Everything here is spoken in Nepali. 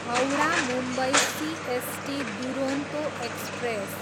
Howrah, Mumbai CST Duronto express